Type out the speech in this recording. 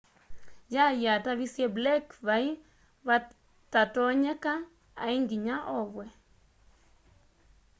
y'ay'i atavisye blake vai vatatonyeka ai nginya ovwe